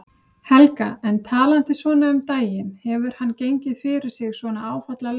Helga: En talandi svona um daginn, hefur hann gengið fyrir sig svona áfallalaust?